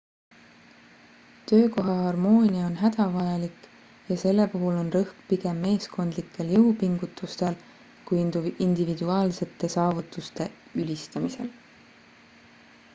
töökoha harmoonia on hädavajalik ja selle puhul on rõhk pigem meeskondlikel jõupingutustel kui individuaalsete saavutuste ülistamisel